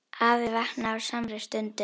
Afi vaknaði á samri stundu.